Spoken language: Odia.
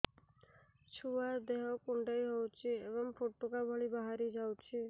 ଛୁଆ ଦେହ କୁଣ୍ଡେଇ ହଉଛି ଏବଂ ଫୁଟୁକା ଭଳି ବାହାରିଯାଉଛି